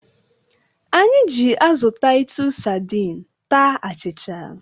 Anyị ji azụ Taịtus sadiin taa achịcha.